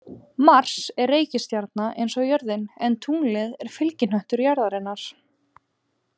Mars er reikistjarna eins og jörðin en tunglið er fylgihnöttur jarðarinnar.